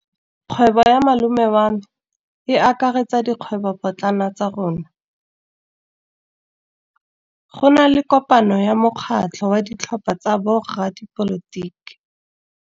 Kgwêbô ya malome wa me e akaretsa dikgwêbôpotlana tsa rona. Go na le kopanô ya mokgatlhô wa ditlhopha tsa boradipolotiki.